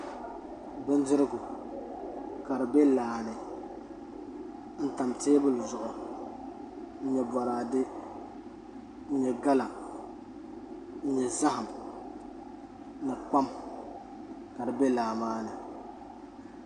Bindirigu ka di bɛ laa ni n tam teebuli zuɣu n nyɛ boraadɛ n nyɛ gala n nyɛ zaham ni kpam ka di bɛ laa maa ni